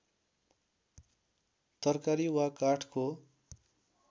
तरकारी वा काठको